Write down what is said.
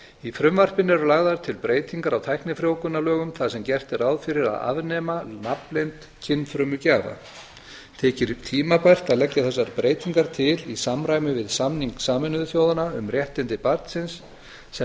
í frumvarpinu eru lagðar til breytingar á tæknifrjóvgunarlögum þar sem gert er ráð fyrir að afnema nafnleynd kynfrumugjafa þykir tímabært að leggja þessar breytingar til í samræmi við samning sameinuðu þjóðanna um réttindi barnsins sem